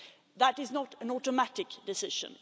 That is not an automatic decision.